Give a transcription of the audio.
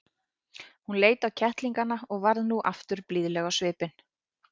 Hún leit á kettlingana og varð nú aftur blíðleg á svipinn.